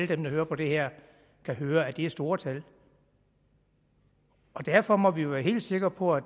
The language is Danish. dem der hører på det her kan høre at det er store tal derfor må vi være helt sikre på at